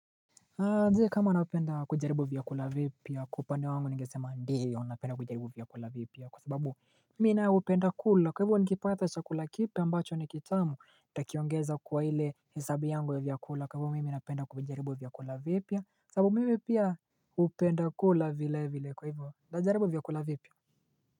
Je kama napenda kujaribu vyakula vipya kwa upande wa wangu ningesema ndio napenda kujaribu vyakula vipya kwa sababu mi nayo hupenda kula kwa hivo nikipata chakula kipya ambacho nikitamu nitakiongeza kwa ile hesabu yangu ya vyakula kwa hivo mimi napenda kuvijaribu vyakula vipia sababu mimi pia hupenda kula vile vile kwa hivo najaribu vyakula vipia.